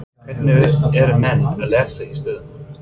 Hvernig eru menn að lesa í stöðuna?